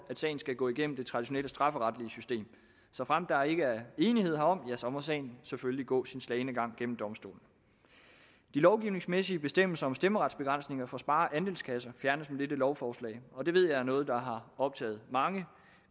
sagen skal gå igennem det traditionelle strafferetlige system såfremt der ikke er enighed herom må sagen selvfølgelig gå sin slagne gang gennem domstolene de lovgivningsmæssige bestemmelser om stemmeretsbegrænsninger for spare og andelskasser fjernes med dette lovforslag og det ved jeg er noget der har optaget mange